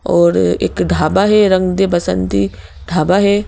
और एक ढाबा है रंग दे बसंती ढाबा है।